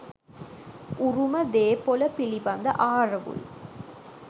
උරුම දේපොල පිළිබඳ ආරවුල්